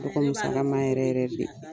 sala ma yɛrɛ yɛrɛ de,